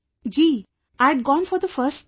Ji...I'd gone for the first time